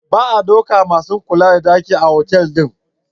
Ba a daukan masu kula da daki aiki a otal din.